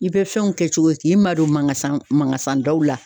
I bɛ fɛnw kɛ cogo di k'i ma don manga san manga san daw la.